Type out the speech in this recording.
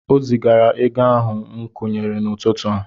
O zigaala ego ahụ m kwụnyere n'ụtụtụ a.